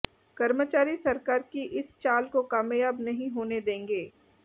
कर्मचारी सरकार की इस चाल को कामयाब नहीं होने देंगे